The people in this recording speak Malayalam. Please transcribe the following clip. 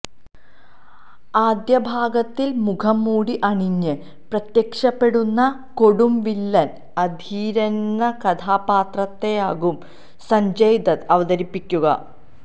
ആദ്യഭാഗത്തില് മുഖംമൂടി അണിഞ്ഞ് പ്രത്യക്ഷപ്പെടുന്ന കൊടുംവില്ലന് അധീരയെന്ന കഥാപാത്രത്തെയാകും സഞ്ജയ് ദത്ത് അവതരിപ്പിക്കുക